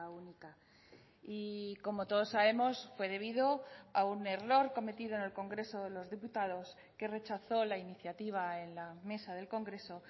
única y como todos sabemos fue debido a un error cometido en el congreso de los diputados que rechazó la iniciativa en la mesa del congreso